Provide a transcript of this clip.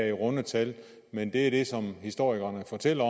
er runde tal men det er det som historikerne fortæller